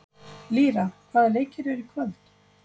Lýra, hvaða leikir eru í kvöld?